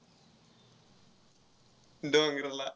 डोंगराला.